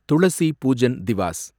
Thulasi Pujan Diwas